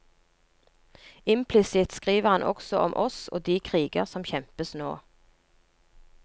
Implisitt skriver han også om oss og de kriger som kjempes nå.